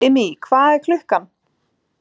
Immý, hvað er klukkan?